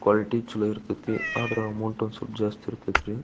Quality ಚಲೋ ಇರತ್ತತಿ ಆದ್ರೆ ಅಮೌಂಟ್ ಒಂದ್ ಸ್ವಲ್ಪ ಜಾಸ್ತಿ ಇರತ್ತತ್ ರೀ .